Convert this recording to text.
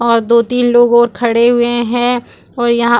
और दो-तीन लोग और खड़े हुए हैं और यहां --